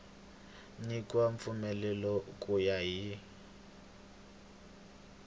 nyikiwa mpfumelelo ku ya hi